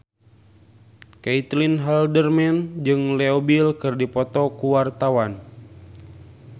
Caitlin Halderman jeung Leo Bill keur dipoto ku wartawan